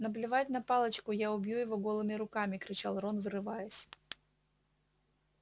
наплевать на палочку я убью его голыми руками кричал рон вырываясь